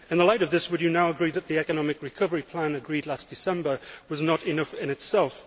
In the light of this, would you now agree that the economic recovery plan agreed last December was not enough in itself?